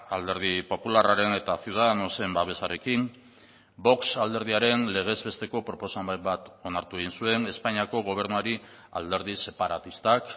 alderdi popularraren eta ciudadanosen babesarekin vox alderdiaren legez besteko proposamen bat onartu egin zuen espainiako gobernuari alderdi separatistak